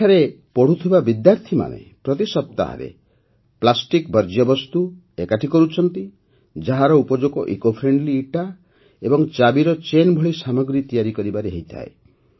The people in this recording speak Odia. ଏଠାରେ ପଢ଼ୁଥିବା ବିଦ୍ୟାର୍ଥୀମାନେ ପ୍ରତି ସପ୍ତାହରେ ପ୍ଲାଷ୍ଟିକ ବର୍ଜ୍ୟବସ୍ତୁ ଏକାଠି କରୁଛନ୍ତି ଯାହାର ଉପଯୋଗ ଇସିଓ ଫ୍ରେଣ୍ଡଲି ଇଟା ଏବଂ ଚାବିର ଚେନ୍ ଭଳି ସାମଗ୍ରୀ ତିଆରି କରିବାରେ ହୋଇଥାଏ